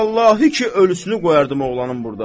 Vallahi ki, ölüsünü qoyardım oğlanın burda.